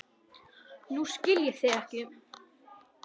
Nú skil ég þig ekki.